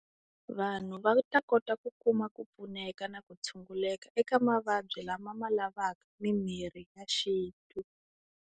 Vanhu va ta kota ku kuma ku pfuneka na ku tshunguleka eka mavabyi lama ma lavaka mimirhi ya xintu.